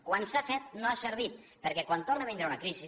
quan s’ha fet no ha servit perquè quan torna a vindre una crisi